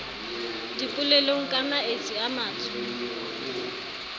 dipolelong ka maetsi a matso